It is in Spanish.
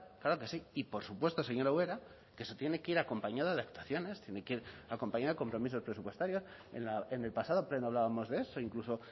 claro que sí y por supuesto señora ubera que se tiene que ir acompañada de actuaciones tiene que ir acompañada de compromisos presupuestarios en el pasado pleno hablábamos de esto incluso